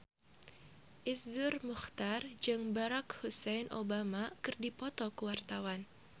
Iszur Muchtar jeung Barack Hussein Obama keur dipoto ku wartawan